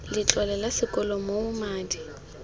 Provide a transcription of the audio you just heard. letlole la sekolo moo madi